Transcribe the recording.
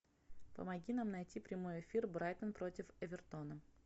помоги нам найти прямой эфир брайтон против эвертона